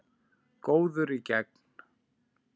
Góður í gegn.